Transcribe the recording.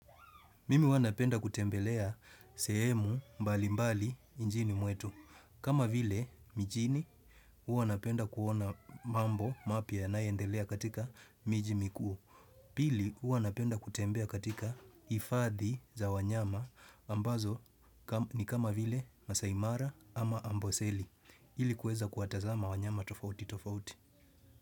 Mimi huwa napenda kutembelea sehemu mbali mbali njini muetu. Kama vile mijini, uwa napenda kuona mambo mapia na yanayoendelea katika miji mikuu. Pili, uwa napenda kutembea katika ifadhi za wanyama ambazo ni kama vile masai mara ama amboseli. Hili kueza kuatazama wanyama tofauti tofauti.